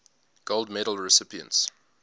gold medal recipients